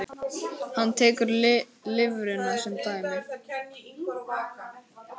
Hann tekur lifrina sem dæmi.